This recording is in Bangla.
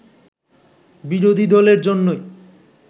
বিরোধী দলের জন্যই